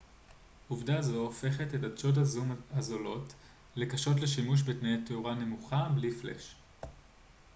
עובדה זו הופכת את עדשות הזום הזולות לקשות לשימוש בתנאי תאורה נמוכה בלי פלאש